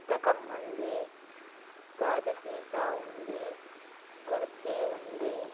ఉంది. గాజు సీసా ఉంది. కుర్చీ ఉంది.